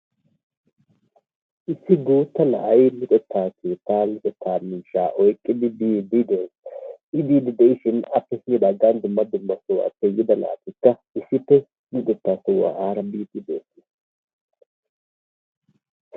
Issi guuttaa na'ay luxetta keettaa ba luxettaa miishshaa oyqqadi biidi de'ees. I biidi de'shin gandappe dumma naatikka issippe luxetta sohuwa aara biidi de'oosona.